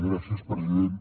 gràcies president